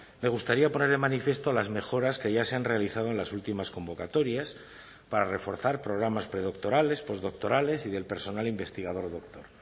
me gustaría poner de manifiesto las mejoras que ya se han realizado en las últimas convocatorias para reforzar programas predoctorales postdoctorales y del personal investigador doctor